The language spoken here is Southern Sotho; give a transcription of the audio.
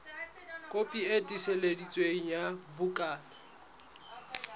kopi e tiiseditsweng ya bukana